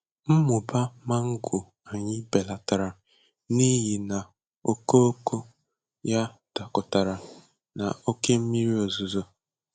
Mmụba mango anyị belatara n’ihi na okooko ya dakọtara na oke mmiri ozuzo.